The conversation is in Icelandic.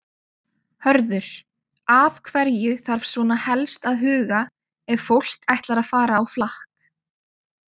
Hörður, að hverju þarf svona helst að huga ef fólk ætlar að fara á flakk?